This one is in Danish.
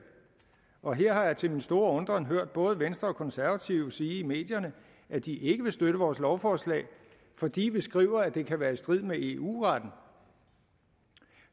og her har jeg til min store undren hørt både venstre og konservative sige i medierne at de ikke vil støtte vores lovforslag fordi vi skriver at det kan være i strid med eu retten